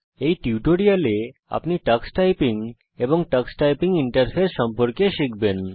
এই টিউটোরিয়ালে আপনি টাক্স টাইপিং এবং টাক্স টাইপিং ইন্টারফেস সম্পর্কে শিখবেন